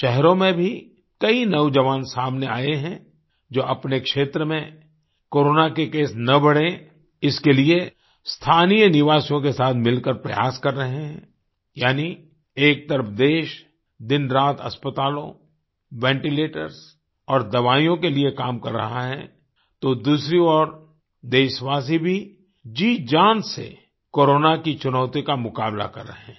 शहरों में भी कई नौजवान सामने आये हैं जो अपने क्षेत्र में कोरोना के केस न बढ़े इसके लिए स्थानीय निवासियों के साथ मिलकर प्रयास कर रहे हैं यानि एक तरफ देश दिनरात अस्पतालों वेंटीलेटर्स और दवाईयों के लिए काम कर रहा है तो दूसरी ओर देशवासी भी जीजान से कोरोना की चुनौती का मुकाबला कर रहें हैं